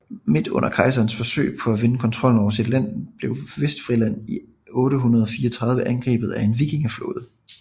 Midt under kejserens forsøg på at vinde kontrollen over sit land blev Vestfrisland i 834 angrebet af en vikingeflåde